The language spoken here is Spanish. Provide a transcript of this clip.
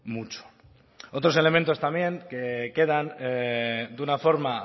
mucho otros elementos también que quedan de una forma